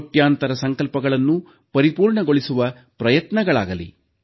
ಕೋಟ್ಯಂತರ ಸಂಕಲ್ಪಗಳನ್ನು ಪರಿಪೂರ್ಣಗೊಳಿಸುವ ಪ್ರಯತ್ನಗಳಾಗಲಿ